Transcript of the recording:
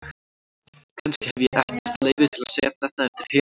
Kannski hef ég ekkert leyfi til að segja þetta eftir heilan áratug.